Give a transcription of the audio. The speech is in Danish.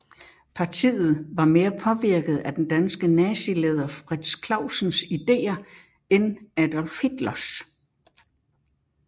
Partiet var mere påvirket af den danske nazileder Frits Clausens ideer end Adolf Hitlers